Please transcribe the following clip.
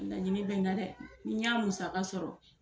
Laɲini bɛ n na dɛ ni n y'a musaka sɔrɔ